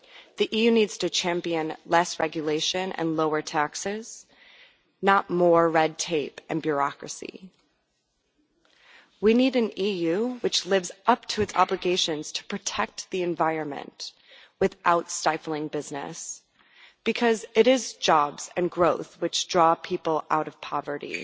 The EU needs to champion less regulation and lower taxes, not more red tape and bureaucracy. We need an EU which lives up to its obligations to protect the environment without stifling business, because it is jobs and growth which draw people out of poverty